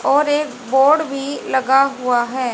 और एक बोर्ड भी लगा हुआ है।